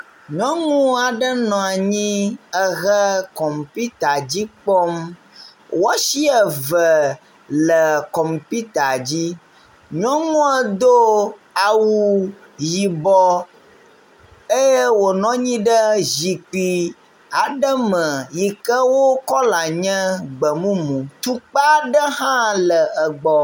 Nyɔnuaɖe nɔanyi ehe kɔputa dzi kpɔm woasi eve le kɔmputa dzi nyɔnua dó awu yibɔ eye wonɔnyi ɖe zikpi aɖe me yike wó kɔla nye gbemumu tukpa ɖe ha le egbɔ